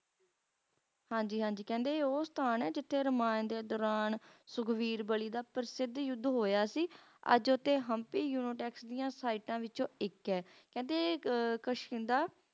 ਹਾਂਜੀ ਹਾਂਜੀ ਕਹਿੰਦੇ ਉਹ ਸਥਾਨ ਹੈ ਜਿੱਥੇ ਰੁਮਾਂਟਿਕਤਾ ਆਣ ਸੁਖਬੀਰ